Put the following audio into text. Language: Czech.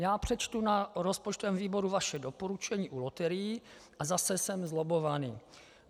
Já přečtu na rozpočtovém výboru vaše doporučení u loterií, a zase jsem zlobbovaný.